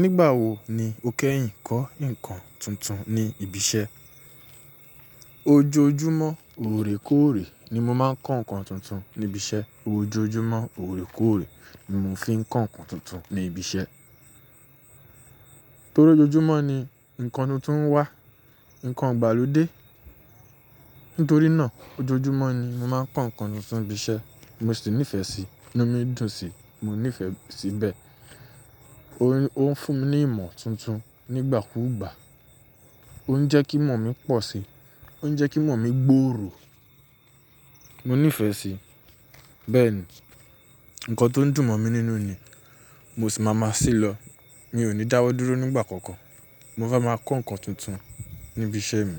Nígbà wo ni o kẹ́yìn kọ́ nǹkan tuntun ní ibi iṣẹ́? Ojoojúmọ́ óòrèkóòrè ni mo máa ń kọ́ nǹkan tuntun níbi iṣẹ́. Ojoojúmọ́ óòrèkóòrè ni mo fi ń kọ́ nǹkan tuntun ní ibi iṣẹ́. Torí ojoojúmọ́ ni ǹnkan tuntun ń wá, ǹnkan ìgbàlódé. Nítorí náà ojoojúmọ́ ni mo máa ń kọ́ nǹkan tuntun ní ibi iṣẹ́. Mo sì nífẹ̀ẹ́ sí i, inú mi dùn sí i. Mo nífẹ̀ẹ́ sí bẹ́ẹ̀. Ó ń fún mi ní ìmọ̀ tuntun nígbàkúùgbà. Ó ń jẹ́ kí ìmọ̀ mi pọ̀ si. Ó ń jẹ́ kí ìmọ̀ mi gbòòrò. Mo nífẹ̀ẹ́ sí i. Bẹ́ẹ̀ni, ǹnkan tó ń dùn mọ̀ mi nínú ni, mo sì máa ma se lọ. Mi ò ní dáwọ́ dúró nígbà kankan. Mo fe máa kọ́ ǹnkan tuntun ní ibi iṣẹ́ mi